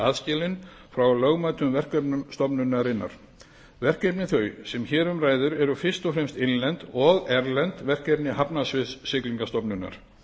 aðskilinn frá lögmætum verkefnum stofnunarinnar verkefni þau sem hér um ræðir eru fyrst og fremst innlend og erlend verkefni hafnasviðs siglingastofnunar